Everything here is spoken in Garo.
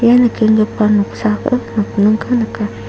ia nikenggipa noksao nokningko nika.